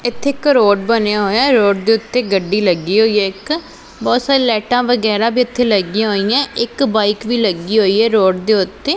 ਇੱਥੇ ਇੱਕ ਰੋਡ ਬਣਿਆ ਹੋਇਆ ਹੈ ਰੋਡ ਦੇ ਓੱਤੇ ਗੱਡੀ ਲੱਗੀ ਹੋਈਆ ਇੱਕ ਬਹੁਤ ਸਾਰੀਆਂ ਲਾਈਟਾਂ ਵਗੈਰਾ ਵੀ ਇੱਥੇ ਲੱਗੀਆਂ ਹੋਈਆਂ ਇੱਕ ਬਾਇਕ ਵੀ ਲੱਗੀ ਹੋਈ ਹੈ ਰੋਡ ਦੇ ਓੱਤੇ।